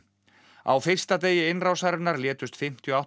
á fyrsta degi innrásarinnar létust fimmtíu og átta